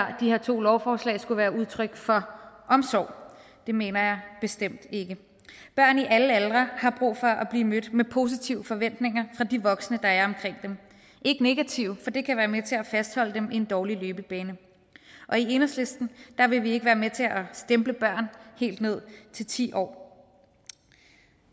her to lovforslag skulle være udtryk for omsorg det mener jeg bestemt ikke børn i alle aldre har brug for at blive mødt med positive forventninger fra de voksne der og ikke negative for det kan være med til at fastholde dem i en dårlig løbebane og i enhedslisten vil vi ikke være med til at stemple børn helt ned til ti år